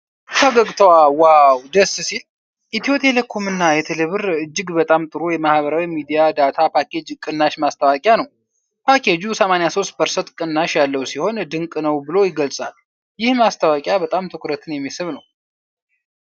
ፈገግታዋ ዋው ደስ ሲል! ኢትዮ ቴሌኮም እና ቴሌብር እጅግ በጣም ጥሩ የማህበራዊ ሚዲያ ዳታ ፓኬጅ ቅናሽ ማስታወቂያ ነው። ፓኬጁ 83% ቅናሽ ያለው ሲሆን ድንቅ ነው ብሎ ይገለጻል። ይህ ማስታወቂያ በጣም ትኩረትን የሚስብ ነው።